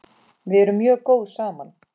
Við erum mjög góð saman.